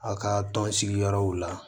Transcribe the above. A ka tɔn sigiyɔrɔw la